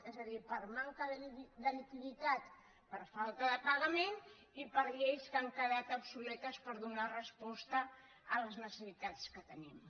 és a dir per manca de liquiditat per falta de pagament i per lleis que han quedat obsoletes per donar resposta a les necessitats que tenim